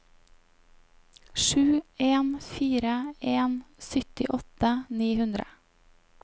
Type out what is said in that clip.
sju en fire en syttiåtte ni hundre